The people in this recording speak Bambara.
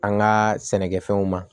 An ka sɛnɛkɛfɛnw ma